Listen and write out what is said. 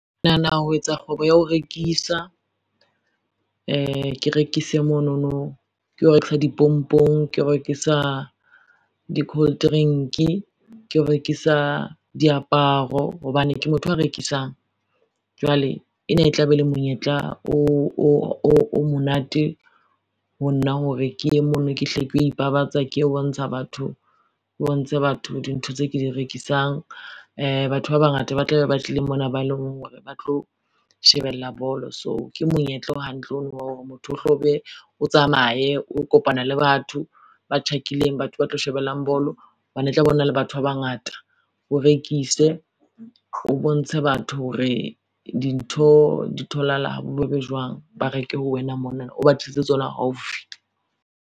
Ke nahana ho etsa kgwebo ya ho rekisa. Ke rekise monono ke o rekisa dipompong, ke o rekisa di-coldrink, ke o rekisa diaparo hobane ke motho a rekisang. Jwale ena e tla be le monyetla o monate ho nna hore ke ye mono, ke hle ke yo ipabatsa ke yo bontsha batho, di ntho tse ke di rekisang batho ba bangata ba tla be ba tlileng mona ba eleng hore ba tlo shebella bolo, so ke monyetla o hantle ono wa hore motho o hlo be o tsamaye o kopana le batho ba hlakileng batho ba tlo shebellang bolo hobane e tla be o na le batho ba bangata, o rekise o bontshe batho hore dintho di tholahala ha bobebe jwang. Ba reke ho wena monana o ba tlisetse tsona haufi.